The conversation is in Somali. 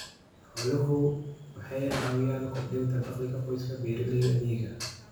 Xooluhu waxay caawiyaan kordhinta dakhliga qoysaska beeralayda miyiga ah.